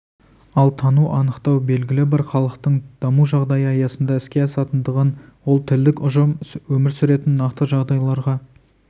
ал тану анықтау белгілі бір халықтың даму жағдайы аясында іске асатындықтан ол тілдік ұжым өмір сүретін нақты жағдайларға